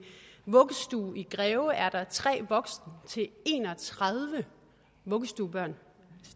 vuggestue i greve er tre voksne til en og tredive vuggestuebørn